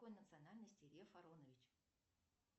какой национальности лев аронович